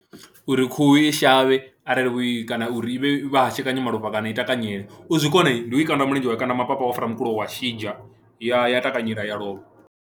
Uri khuhu i shavhe arali i kana uri i vhe vha hashekanya malofha kana i takanyela u zwi kona ndi u i kanda mulenzhe, wa i kanda mapapa wa fara mukulo wa mushidzha, ya ya takanyela ya lovha.